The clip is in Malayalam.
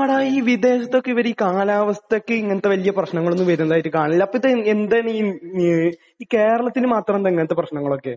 ആടാ. ഈ വിദേശത്തൊക്കെ ഇവർ ഈ കാലാവസ്ഥക്ക് ഇങ്ങനത്തെ വലിയ പ്രശ്നങ്ങളൊന്നും വരുന്നതായിട്ട് കാണില്ല.അപ്പോൾ ഇത് എന്താണ് ഈ ഏഹ് ഈ കേരളത്തിന് മാത്രമെന്താ ഇങ്ങനത്തെ പ്രശ്നങ്ങളൊക്കെ?